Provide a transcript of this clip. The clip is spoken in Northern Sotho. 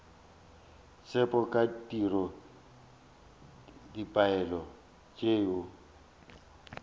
tsebo ka tiro dipoelo tšeo